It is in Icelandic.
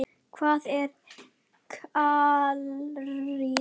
Hvað er karrí?